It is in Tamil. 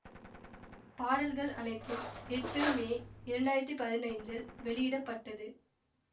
பாடல்கள் அனைத்தும் எட்டு மே இரண்டாயிரத்தி பதினைந்தில் வெளியிட பட்டது